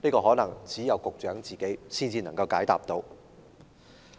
可能只有局長自己才能解答。